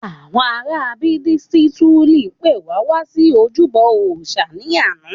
Àwọn ará Budisituli pe wá wá sí ojúbọ òòsà ni ana